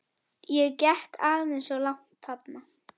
Ég gekk aðeins of langt þarna.